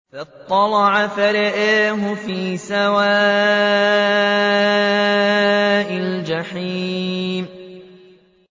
فَاطَّلَعَ فَرَآهُ فِي سَوَاءِ الْجَحِيمِ